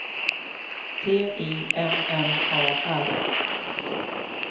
T I M M A R